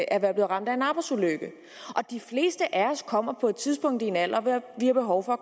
at være blevet ramt af en arbejdsulykke og de fleste af os kommer på et tidspunkt i en alder hvor vi har behov for